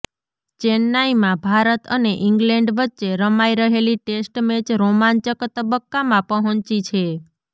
ચેન્નાઈમાં ભારત અને ઈંગ્લેન્ડ વચ્ચે રમાઈ રહેલી ટેસ્ટ મેચ રોમાંચક તબક્કામાં પહોંચી છે